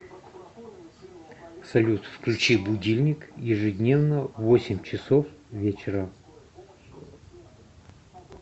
салют включи будильник ежедневно в восемь часов вечера